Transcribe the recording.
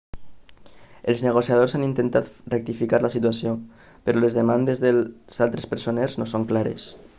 els negociadors han intentat rectificar la situació però les demandes dels altres presoners no són clares